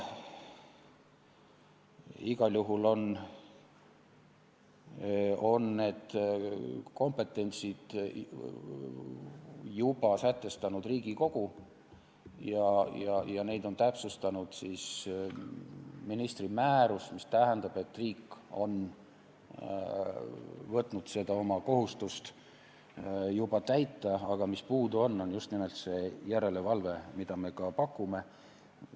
Igal juhul on Riigikogu need kompetentsid juba sätestanud ja neid on täpsustanud ministri määrus, mis tähendab, et riik on võtnud seda kohustust juba täita, aga mis puudu on, on just nimelt järelevalve, mida meie ka pakume.